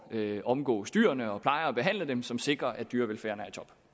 at omgås dyrene og pleje og behandle dem på som sikrer at dyrevelfærden